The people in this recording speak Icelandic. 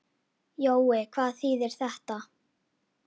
Jói, hvað þýðir þetta?